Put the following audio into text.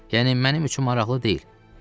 Yəni mənim üçün maraqlı deyil.